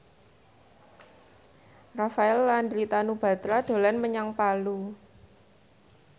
Rafael Landry Tanubrata dolan menyang Palu